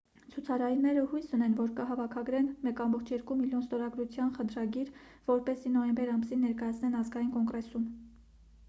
ցուցարարները հույս ունեն որ կհավաքագրեն 1,2 միլիոն ստորագրության խնդրագիր որպեսզի նոյեմբեր ամսին ներկայացնեն ազգային կոնգրեսում